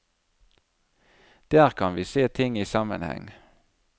Der kan vi se ting i sammenheng.